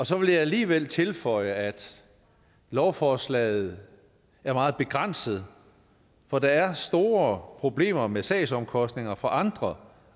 så vil jeg alligevel tilføje at lovforslaget er meget begrænset for der er store problemer med sagsomkostninger for andre